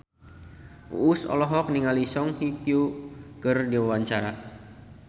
Uus olohok ningali Song Hye Kyo keur diwawancara